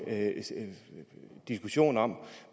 diskussion om